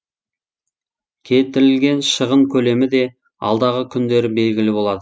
келтірілген шығын көлемі де алдағы күндері белгілі болады